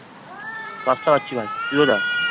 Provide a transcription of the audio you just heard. Pasta খাচ্ছি ভাই তুই কোথায়?